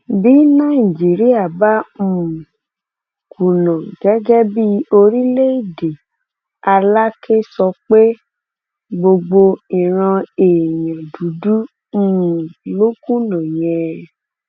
bí nàìjíríà bá um kùnà gẹgẹ bíi orílẹèdè alakè sọ pé gbogbo ìran èèyàn dúdú um ló kùnà yẹn